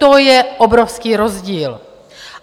To je obrovský rozdíl.